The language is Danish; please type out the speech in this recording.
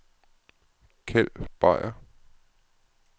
Kjeld Beyer